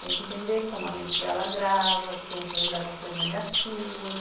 Tem que entender como a mente dela grava, que tem essas gravações negativas.